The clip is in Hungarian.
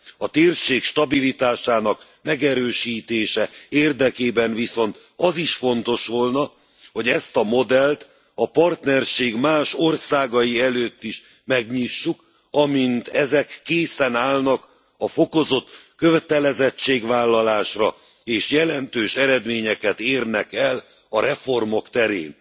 A térség stabilitásának megerősítése érdekében viszont az is fontos volna, hogy ezt a modellt a partnerség más országai előtt is megnyissuk, amint ezek készen állnak a fokozott kötelezettségvállalásra, és jelentős eredményeket érnek el a reformok terén.